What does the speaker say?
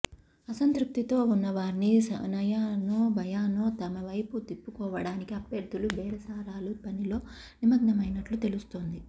అసంతృప్తితో ఉన్న వారిని నయానో భయానో తమవైపు తిప్పుకోవడానికి అభ్యర్థులు బేరసారాల పనిలో నిమగ్నమైనట్లు తెలుస్తోంది